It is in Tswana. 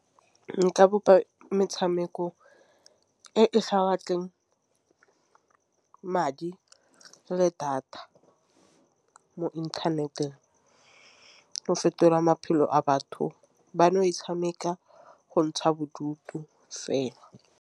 Nka bopa metšhameko evesa batleng madi le data mo inthaneteng o fetolang maphelo a batho bano e tšhameka go ntsha bodutu fela.